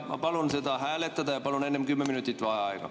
Ma palun seda hääletada ja palun enne 10 minutit vaheaega.